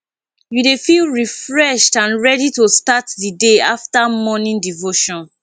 you dey feel refreshed and ready to start di day after morning devotion